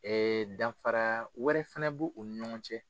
danfara wɛrɛ fana bu u ni ɲɔgɔn cɛ.